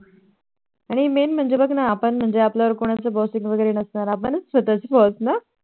आणि Main म्हणजे बघ ना आपण म्हणजे आपल्यावर कोणाचे Bosses वैगेरे नसणार आपणच आपले स्वतः चे Boss ना